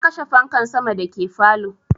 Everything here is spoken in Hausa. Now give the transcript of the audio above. Na kashe fanka sama da ke falow